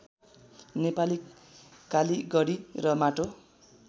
नेपाली कालिगडी र माटो